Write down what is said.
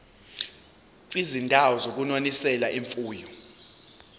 kwizindawo zokunonisela imfuyo